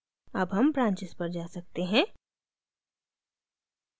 अब हम branches पर जा सकते हैं